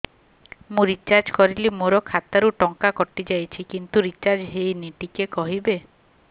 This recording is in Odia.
ମୁ ରିଚାର୍ଜ କରିଲି ମୋର ଖାତା ରୁ ଟଙ୍କା କଟି ଯାଇଛି କିନ୍ତୁ ରିଚାର୍ଜ ହେଇନି ଟିକେ କହିବେ